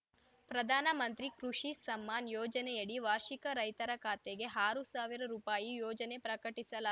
ಪ್ರಧಾನ ಮಂತ್ರಿ ಕೃಷಿ ಸಮ್ಮಾನ್‌ ಯೋಜನೆಯಡಿ ವಾರ್ಷಿಕ ರೈತರ ಖಾತೆಗೆ ಆರು ಸಾವಿರ ರುಪಾಯಿ ಯೋಜನೆ ಪ್ರಕಟಿಸಲಾ